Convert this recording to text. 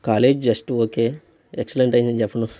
College just okay . Excellent ఐన నేన్ను చెప్పను.